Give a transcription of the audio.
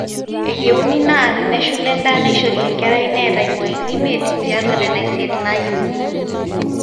eyieuni naa teneshula endaa naishori enkerai neeta imwain imiet tiatwa nena isiet naayieuni